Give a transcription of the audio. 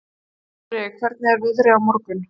Þorri, hvernig er veðrið á morgun?